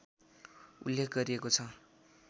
उल्लेख गरिएको छ